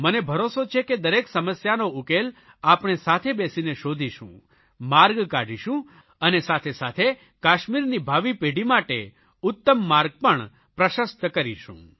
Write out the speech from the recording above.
મને ભરોસો છે કે દરેક સમસ્યાનો ઉકેલ આપણે સાથે બેસીને શોધીશું માર્ગ કાઢીશું અને સાથેસાથે કાશ્મીરની ભાવિ પેઢી માટે ઉત્તમ માર્ગ પર પ્રશસ્ત કરીશું